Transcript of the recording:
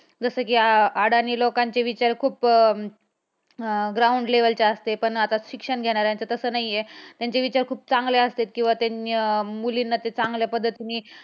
जसं कि अडाणी लोकांचे विचार खूप अं अं ground level चे असते पण आता शिक्षण घेणाऱ्यांचे तसं नाही. त्यांचे विचार खूप चांगले असते किंवा त्यांनी मुलींना ते चांगल्या पद्धतीनी